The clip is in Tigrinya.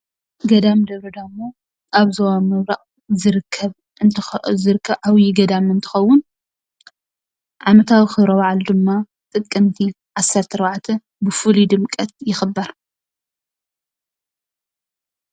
ገዳም ደብረ-ዳሞ ኣብ ዞባ ምብራቅ ዝርከብ ዓብዩ ገዳም እትከውን ዓመታዊ ክብረ ባዓሉ ድማ ጥቅምቲ 14 ብፍሉይ ድምቀት ይክበር።